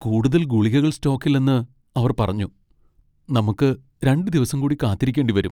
കൂടുതൽ ഗുളികകൾ സ്റ്റോക്കിലില്ലെന്ന് അവർ പറഞ്ഞു. നമുക്ക് രണ്ട് ദിവസം കൂടി കാത്തിരിക്കേണ്ടി വരും .